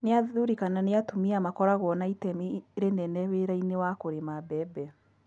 Nĩ athuri kana ni atumia makoragwo na itemi rinene wĩra-inĩ wa kũrĩma mbembe?